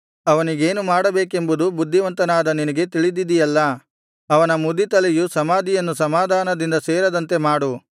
ಅವನಿಗೇನು ಮಾಡಬೇಕೆಂಬುದು ಬುದ್ಧಿವಂತನಾದ ನಿನಗೆ ತಿಳಿದಿದೆಯಲ್ಲಾ ಅವನ ಮುದಿ ತಲೆಯು ಸಮಾಧಿಯನ್ನು ಸಮಾಧಾನದಿಂದ ಸೇರದಂತೆ ಮಾಡು